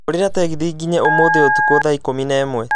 hũrĩra tegithi ngĩnye ũmũthĩ ũtũkũ thaa ikũmi na ĩmwe